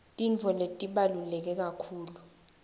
tintfo letibaluleke kakhulu